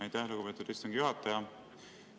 Aitäh, lugupeetud istungi juhataja!